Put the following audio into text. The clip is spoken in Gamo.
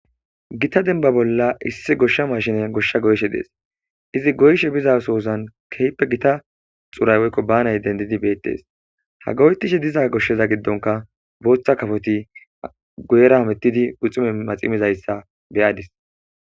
Gitta demmba bollan issi goshsha mashinney goshsha goyishshe dees izzi goyishshe bizzasozan kehippe gitta xuuray woyikko bannayi dendidi bettes ha goyettishe dizza goshazza giddonka boththa kappoti guyera hamettidi guxxunne maxxi mizzayisa be'adis.